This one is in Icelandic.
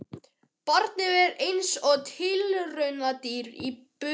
Barnið er eins og tilraunadýr í búri.